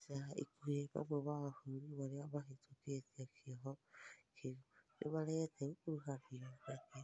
ĩca ĩkuhĩ, mamwe ma mabũrũri marĩa mahĩtũkĩtĩe kĩoho kĩũ nĩmaregete gũkũrũhanĩo nakĩo